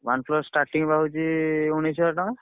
OnePlus starting ବା ହଉଛି ଉଣେଇଶି ହଜାର ଟଙ୍କା।